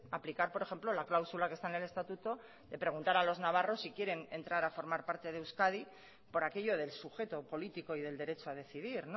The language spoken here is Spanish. aplicar por ejemplo la cláusula que está en el estatuto de preguntar a los navarros si quieren entrar a formar parte de euskadi por aquello del sujeto político y del derecho a decidir